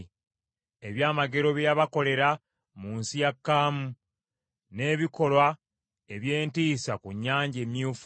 ebyamagero bye yabakolera mu nsi ya Kaamu, n’ebikolwa eby’entiisa ku Nnyanja Emyufu.